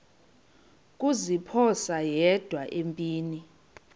kuziphosa yedwa empini